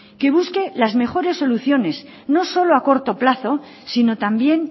que busque las mejores soluciones no solo a corto plazo sino también